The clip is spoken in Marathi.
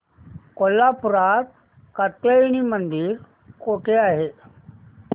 कोल्हापूरात कात्यायनी देवी मंदिर कुठे आहे